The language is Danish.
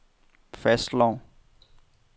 fastslår